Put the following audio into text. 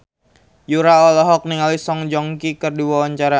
Yura olohok ningali Song Joong Ki keur diwawancara